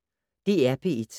DR P1